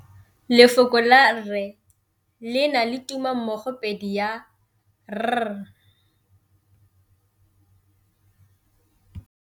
Lefoko la rre le na le tumammogôpedi ya, r.